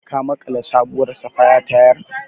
Ka maƙala sabuwar safaya tayar?